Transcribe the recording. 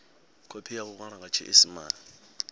khophi ya iwalwa nga tshiisimane